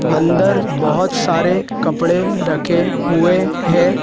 अंदर बहोत सारे कपड़े रखे हुए हैं।